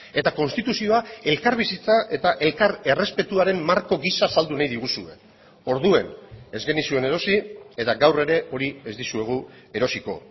eta konstituzioa elkarbizitza eta elkar errespetuaren marko gisa saldu nahi diguzue orduan ez genizuen erosi eta gaur ere hori ez dizuegu erosiko